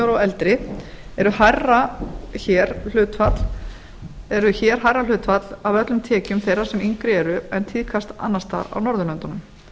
og sjö ára og eldri eru hér hærra hlutfall af öllum tekjum þeirra sem yngri eru en tíðkast annars staðar á norðurlöndunum